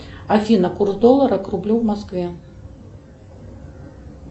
афина курс доллара к рублю в москве